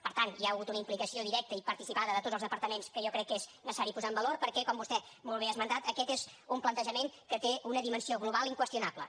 per tant hi ha hagut una implicació directa i participada de tots els departaments que jo crec que és necessari posar en valor perquè com vostè molt bé ha esmentat aquest és un plantejament que té una dimensió global inqüestionable